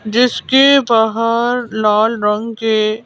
जिसके बाहर लाल रंग के--